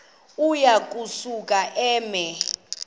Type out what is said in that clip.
uya kusuka eme